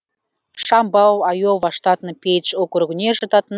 шамбау айова штатының пейдж округіне жататын